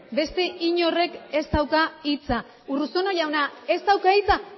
beste inorrek ez dauka hitza urruzuno jauna ez dauka hitza